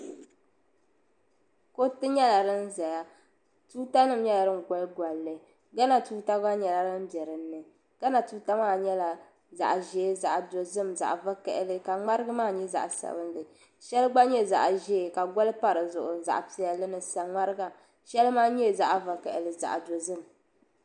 Kuriti nyela din zaya tuutanim goli goli li gana tuuta gba nyela din biɛ din ni gana tuuta maa nyela zaɣʒee zaɣdozim zaɣvakaɣili ka ŋmarigi maa nye zaɣsabinli shɛli gba nye zaɣʒee ka goli pa di zuɣu zaɣpiɛlli ni saŋmariga shɛli man nye zaɣvakaɣili zaɣdozim.